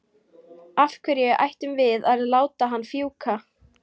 Af hverju ættum við að láta hann fjúka?